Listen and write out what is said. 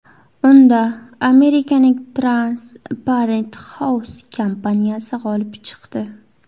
Unda Amerikaning Transparent House kompaniyasi g‘olib chiqdi.